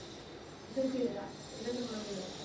இரண்டு குழந்தைகள்